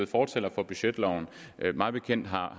fortaler for budgetloven mig bekendt har